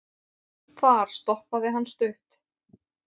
þar stoppaði hann stutt